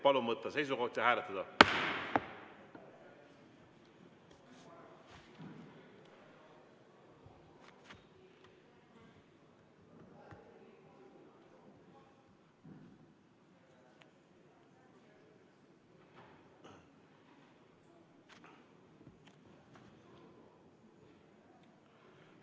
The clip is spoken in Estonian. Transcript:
Palun võtta seisukoht ja hääletada!